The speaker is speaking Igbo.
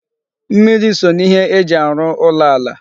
Mmiri so n'ihe eji arụ ụlọ ala